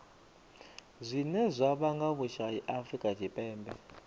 zwine zwa vhanga vhusai afurika tshipembe